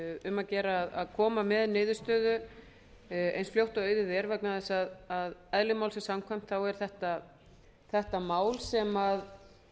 um að gera að koma með niðurstöðu eins fljótt og auðið er vegna þess að eðli málsins samkvæmt er þetta mál